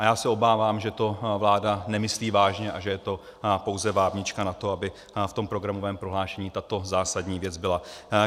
A já se obávám, že to vláda nemyslí vážně a že je to pouze vábnička na to, aby v tom programovém prohlášení tato zásadní věc byla.